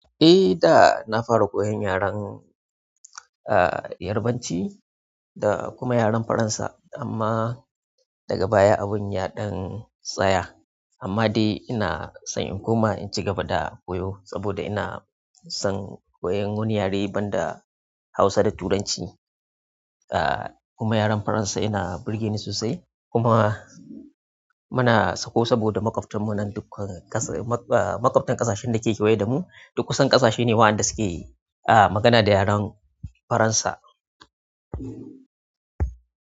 Eh da nafara koyon a yaren yarabanci da kuma yaren Faransa amma daga baya abun ya ɗan tsaya. Amma dai inason in kuma inci gaba da koyo saboda ina son koyan wani yare banda Hausa da Turanci. Ah, kuma yaren Faransa yana burge ni sosai kuma muna sako saboda makwaftanmu nan duk ƙasa, ah, makwaftin ƙasashen da ke kewaye da mu, duk kusan ƙasashe ne waɗanda suke, ah, magana da yaren Faransa.